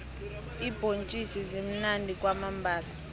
iimbhontjisi zimunandi kwamambhala